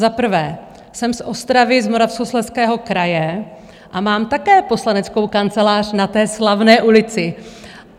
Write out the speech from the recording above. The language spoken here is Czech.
Za prvé jsem z Ostravy, z Moravskoslezského kraje, a mám také poslaneckou kancelář na té slavné ulici.